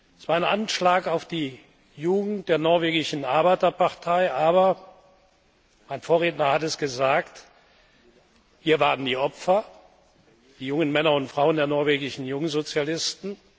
Es war ein Anschlag auf die Jugend der norwegischen Arbeiterpartei, aber mein Vorredner hat es gesagt hier waren die Opfer die jungen Männer und Frauen der norwegischen Jungsozialisten.